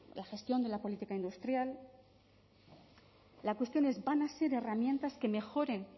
la gestión de la política industrial la cuestión es van a ser herramientas que mejoren